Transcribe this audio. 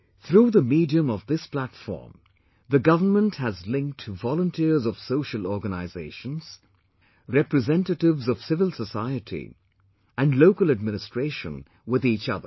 Through the medium of this platform, the government has linked volunteers of social organizations, representatives of civil society and local administration with each other